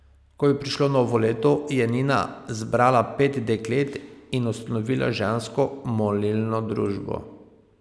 Ko je prišlo novo leto, je Nina zbrala pet deklet in ustanovila Žensko molilno družbo.